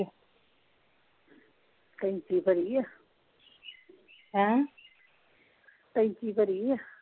ਟੈਂਕੀ ਭਰੀ ਆ ਹੈਂ ਟੈਂਕੀ ਭਰੀ ਆ?